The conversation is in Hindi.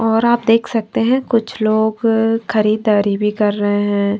और आप देख सकते हैं कुछ लोग खरीददारी भी कर रहे हैं।